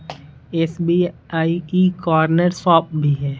SBI corner shop भी है।